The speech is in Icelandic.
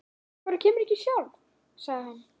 Af hverju kemurðu ekki sjálf? sagði hann.